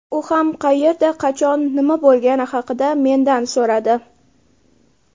U ham qayerda, qachon, nima bo‘lgani haqida mendan so‘radi.